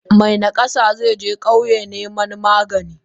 Me nakasa zeje kauyen niman magani.